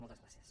moltes gràcies